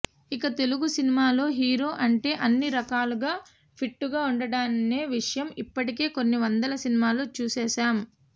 ఇక తెలుగు సినిమాలో హీరో అంటే అన్ని రకాలుగా ఫిట్గా ఉంటాడనే విషయం ఇప్పటికే కొన్ని వందల సినిమాల్లో చూసేసాం